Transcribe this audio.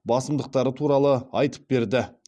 басымдықтары туралы айтып берді